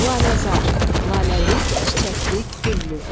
Laləzar, laləlik, çiçəklik, güllük.